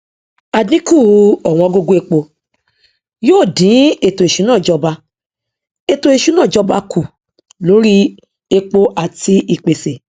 àdínkù ọwọngógó epo yóò dín ètòìṣúná ìjọba ètòìṣúná ìjọba kù lóri epo àti ìpèsè